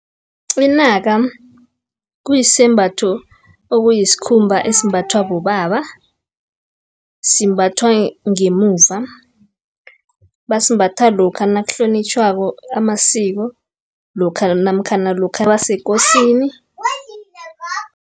Inaka, kuyisembatho okuyisikhumba esimbathwa bobaba, simbathwa ngemuva. Basimbatha lokha nakuhlonitjhwako amasiko, namkhana lokha baseKosini.